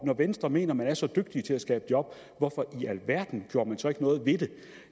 når venstre mener man er så dygtige til at skabe job hvorfor i alverden gjorde man så ikke noget ved